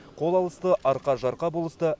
қол алысты арқа жарқа болысты